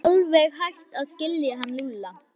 Ég er alveg hætt að skilja hann Lúlla.